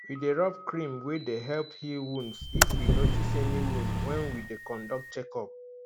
we dey rub cream wey dey help heal wounds if we notice any wound when we dey conduct check up